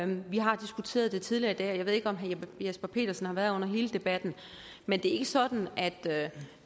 vi har diskuteret det tidligere i dag og jeg ved ikke om jesper petersen har været her under hele debatten men det er ikke sådan at